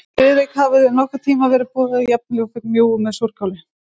Friðrik, hafa þér nokkurn tíma verið boðin jafn ljúffeng bjúgu með súrkáli?